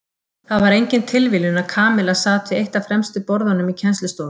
Það var engin tilviljun að Kamilla sat við eitt af fremstu borðunum í kennslustofunni.